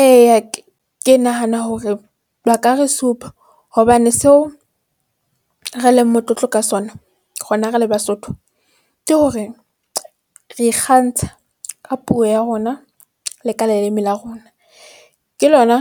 Eya, ke nahana hore ba ka re supa hobane seo re leng motlotlo ka sona rona re le Basotho ke hore re ikgantsha ka puo ya rona. Le ka leleme la rona. Ke lona